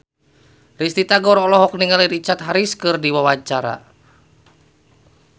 Risty Tagor olohok ningali Richard Harris keur diwawancara